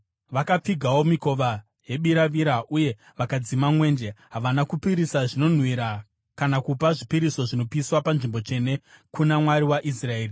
Vakapfigawo mikova yebiravira uye vakadzima mwenje. Havana kupisira zvinonhuhwira kana kupa zvipiriso zvinopiswa panzvimbo tsvene kuna Mwari waIsraeri.